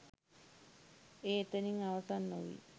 එය එතනින් අවසන් නොවී